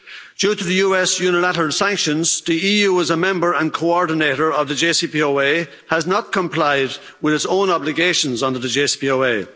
Due to the US unilateral sanctions, the EU as a member and coordinator of the JCPOA has not complied with its own obligations under the JCPOA.